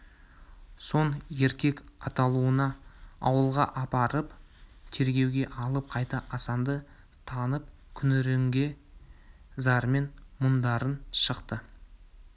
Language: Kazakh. соң еркек атаулыны ауылға апарып тергеуге алып қайтты асанды танып күңіренген зармен мұңдарын шақты